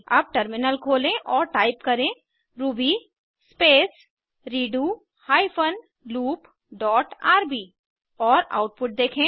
अब टर्मिनल खोलें और टाइप करें ruby space redo hyphen loop dot RB और आउटपुट देखें